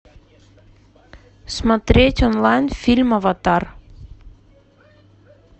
смотреть онлайн фильм аватар